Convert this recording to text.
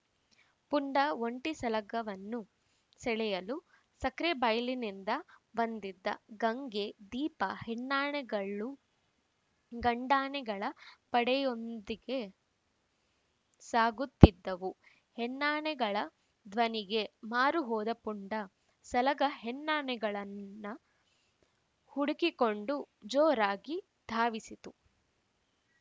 ಪುಂಡ ಒಂಟಿ ಸಲಗವನ್ನು ಸೆಳೆಯಲು ಸಕ್ರೆಬೈಲಿನಿಂದ ಬಂದಿದ್ದ ಗಂಗೆ ದೀಪಾ ಹೆಣ್ಣಾನೆಗಳು ಗಂಡಾನೆಗಳ ಪಡೆಯೊಂದಿಗೆ ಸಾಗುತ್ತಿದ್ದವು ಹೆಣ್ಣಾನೆಗಳ ಧ್ವನಿಗೆ ಮಾರು ಹೋದ ಪುಂಡ ಸಲಗ ಹೆಣ್ಣಾನೆಗಳನ್ನ ಹುಡುಕಿಕೊಂಡು ಜೋರಾಗಿ ಧಾವಿಸಿತು